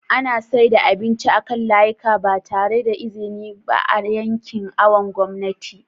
ana saida abinci a kan layika ba tare da iziniba a yancin awon gomnati